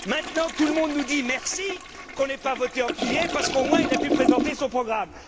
Maintenant, tout le monde nous dit merci qu'on n'ait pas voté en juillet, parce qu'au moins il a pu présenter son programme.